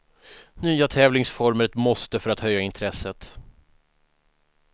Nya tävlingsformer ett måste för att höja intresset.